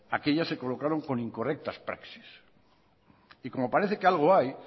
aquellas se colocaron con incorrectas praxis y como parece que algo hay